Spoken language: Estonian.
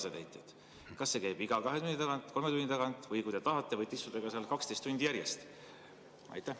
Kas see käib iga kahe tunni tagant, kolme tunni tagant või kui te tahate, võite istuda seal ka 12 tundi järjest?